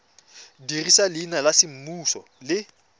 dirisa leina la semmuso le